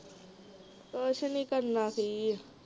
ਕੁਛ ਨਹੀਂ ਕਰਨਾ ਕੀ ਆ